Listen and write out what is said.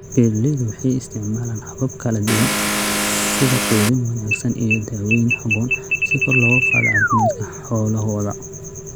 Beeraleydu waxay isticmaalaan habab kala duwan sida quudin wanaagsan iyo daweyn habboon si kor loogu qaado caafimaadka xoolahooda.